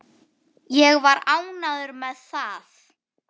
Ég var ánægður með það.